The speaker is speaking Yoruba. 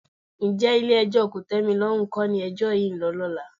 Ǹjẹ́ Ilé-ẹjọ́ kòtẹ́milọ́rùn kọ́ ni ẹjọ́ yìí ń lọ lọ́la?